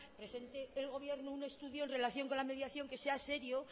presente el gobierno un estudio en relación con la mediación que sea serio